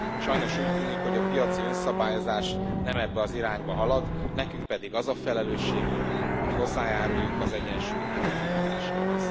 Sajnos úgy tűnik, hogy a piaci önszabályozás nem ebbe az irányba halad, nekünk pedig az a felelősségünk, hogy hozzájáruljunk az egyensúly helyreállításához.